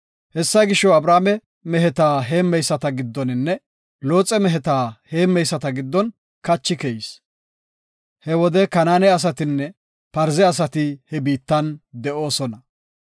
Hessa gisho, Abrame meheta heemmeyisata giddoninne Looxe meheta heemmeyisata giddon kachi keyis. He wode Kanaane asatinne Parze asati he biittan de7oosona.